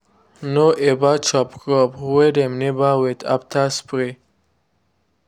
no ever chop crop wey dem never wait after spray.